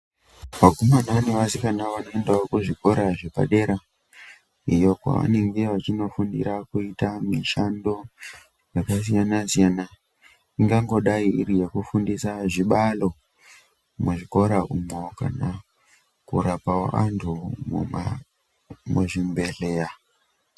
Vakomana nevasikana vanoendawo kuzvikora zvepadera iyo kwavanenge vachindofundira kuita mishando yakasiyana siyana ingangodai iri yekufundisa zvibalo muzvikora umwo kana korapawo vantu muzvibhedhleya.